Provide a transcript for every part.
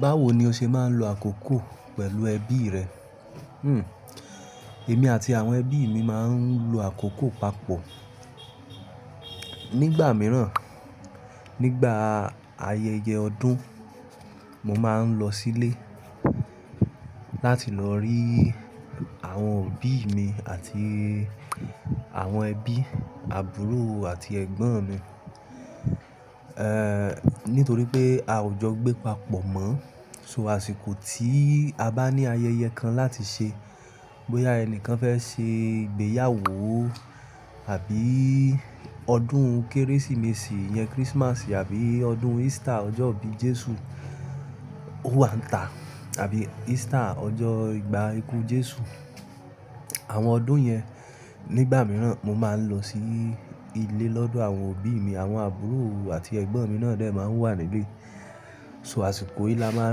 Báwo ni o ṣe máa ń lo àkókò pẹ̀lú ẹbí rẹ? Èmi àti àwọn ẹbí mi máa ń lo àkókò papọ̀. Nígbà mìíràn, nígbà ayẹyẹ ọdún, mo máa ń lọ sílé láti lọ rí àwọn òbí mi àti àwọn ẹbí, àbúrò àti ẹ̀gbọ́n mi. Nítorí pé a ò jọ gbẹ papọ̀ mọ́, so àsìkò tí a bá ní ayẹyẹ kan láti ṣe, bóyá ẹni kan fẹ́ ṣe ìgbéyàwó àbí ọdún Kérésìmesì yẹn, Christmas àbí ọdún Easter, ọjọ́ ìbí Jésù, o wa nta, àbí Easter ìgbà iku Jésù. Àwọn ọdún yẹn, nígbà mìíràn mo máa ń lọ sí ilé lọ́dọ̀ àwọn òbí mi, àwọn àbúrò àti ẹ̀gbọ́n mi náà dẹ́ máa wà nílé. So àsìkò yìí la máa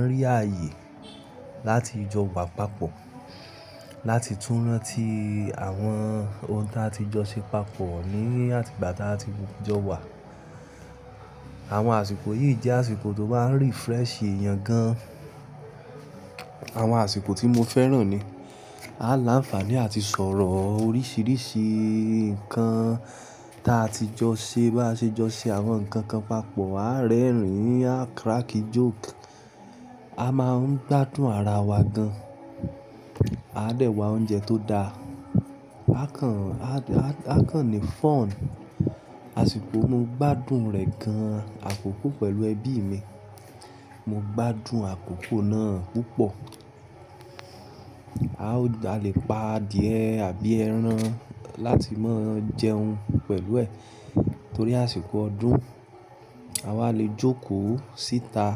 ń rí ààyè láti jọ wà papọ̀, láti tún rántí àwọn ohun ta ti jọ ṣe papọ̀ ní àti ìgbà ta tí jọ wà. Àwọn àsìkò yìí jẹ́ àsìkò tó máa ń refresh èèyàn gan. Àwọn àsìkò tí mo fẹ́ràn ni. A láǹfààní àti sọ̀rọ̀ oríṣiríṣi nǹkan ta ti jọ ṣe bá ṣe jọ ṣe àwọn nǹkan kan papọ̀, a rẹ́rìn-ín, a crack joke, a máa ń gbádùn ara wa gan. A dẹ̀ wá oúnjẹ tó da. A kàn ní fún. Àsìkò mo gbádùn rẹ̀ gan, àkókò pẹ̀lú ẹbí mi. Mo gbádùn àkókò náà púpọ̀. A le pa adìẹ àbí ẹran láti máa jẹun pẹ̀lú ẹ̀ torí àsìkò ọdún. A wá le jókòó síta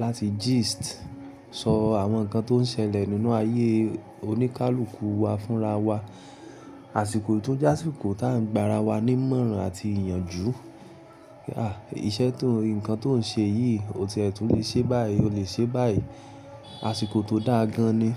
láti gist, sọ àwọn nǹkan tó ń ṣẹlẹ̀ nínú ayé oníkálùkù wa fúnra wa. Àsìkò tó jẹ́ àsìkò tá ń gba ara wa ní ìmọ̀ràn àti ìyànjú. Ǹkan tó ń ṣe yìí, ò ti ẹ̀ tún lè ṣe báyìí, o lè ṣe báyìí. Àsìkò tó dáa gan ni.